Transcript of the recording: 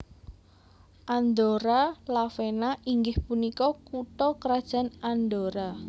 Andorra la Vella inggih punika kutha krajan Andorra